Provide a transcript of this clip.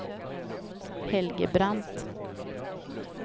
Helge Brandt